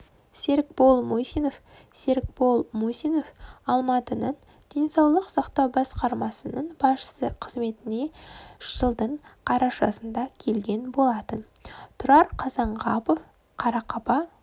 серікбол мусинов серікбол мусиновалматының денсаулық сақтау басқармасының басшысы қызметіне жылдың қарашасында келген болатын тұрар қазанғапов қарақаба